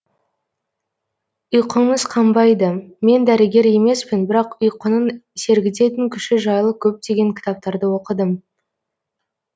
ұйқыңыз қанбайды мен дәрігер емеспін бірақ ұйқының сергітетін күші жайлы көптеген кітаптарды оқыдым